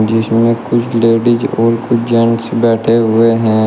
जिसमें कुछ लेडीज़ और कुछ जेंट्स बैठे हुए हैं।